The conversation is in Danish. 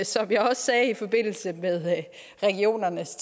som jeg også sagde i forbindelse med regionernes